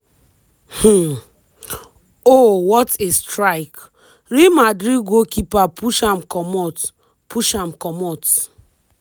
um oh what a strike- real madrid goalkeeper push am comot. push am comot.